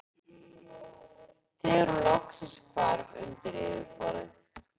þegar hún loksins hvarf undir yfirborðið.